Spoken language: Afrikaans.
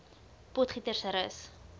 potgietersrus